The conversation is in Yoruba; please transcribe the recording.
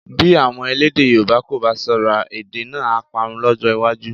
Bí àwọn elédè Yorùbá kò bá ṣọ́ra, èdè náà á parun lọ́jọ́ iwájú